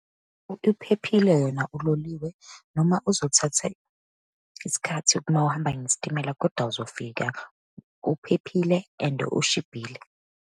Uphephile yona uloliwe, noma uzothatha isikhathi uma uhamba ngesitimela, kodwa uzofika. Uphephile and oshibhile.